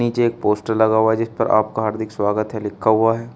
नीचे एक पोस्टर लगा हुआ है जिसपर आपका हार्दिक स्वागत है लिखा हुआ है।